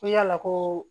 Ko yala koo